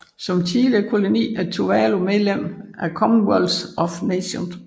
Som tidligere koloni er Tuvalu medlem af Commonwealth of Nations